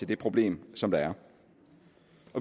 det problem som der er